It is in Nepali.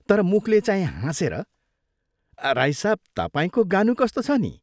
" तर मुखले चाहिँ हाँसेर, " राई साहब, तपाईंको गानु कस्तो छ नि?